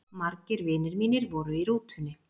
Margir vinir mínir voru í rútunni.